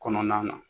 Kɔnɔna na